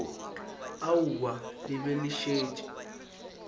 aowa le be le šetše